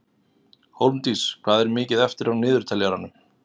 Hólmdís, hvað er mikið eftir af niðurteljaranum?